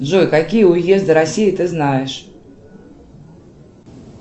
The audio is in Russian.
джой какие уезды россии ты знаешь